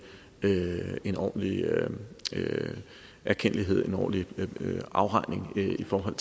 en ordentlig erkendtlighed en ordentlig afregning i forhold